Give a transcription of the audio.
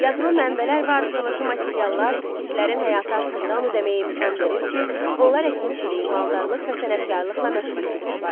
Yazılı mənbələr və arxeoloji materiallar skitlərin həyatı haqqında ona deməyə imkan verir ki, onlar əkinçilik, maldarlıq və sənətkarlıqla məşğul olmuşlar.